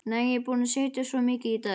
Nei, ég er búin að sitja svo mikið í dag.